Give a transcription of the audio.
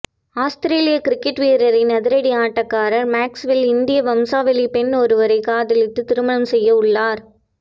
Australia cricket வீரரின் அதிரடி ஆட்டக்காரர் மேக்ஸ்வெல் இந்திய வம்சாவளி பெண் ஒருவரை காதலித்து திருமணம் செய்ய உள்ளார்